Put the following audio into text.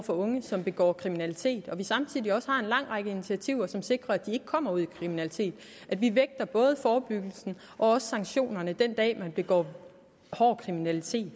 for unge som begår kriminalitet og vi samtidig også har en lang række initiativer som sikrer at de ikke kommer ud i kriminalitet vi vægter både forebyggelsen og sanktionerne den dag nogen begår grov kriminalitet